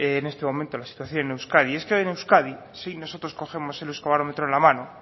en este momento la situación en euskadi es que hoy en euskadi si nosotros cogemos el euskobarometro en la mano